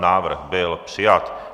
Návrh byl přijat.